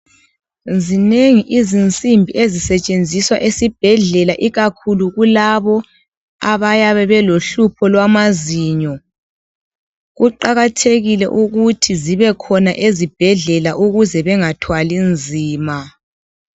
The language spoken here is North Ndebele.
Zinengi izinsimbi ezisetshenziswa esibhedlela ikakhulu kulabo abayabe belohlupho lwamazinyo. Kuqakathekile ukuthi zibe khona ezibhedlela ukuze bengathwali nzima.